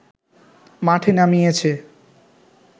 মাঠে নামিয়েছে